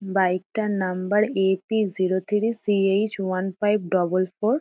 Bike -টার number A T. Zero three C H one five double four.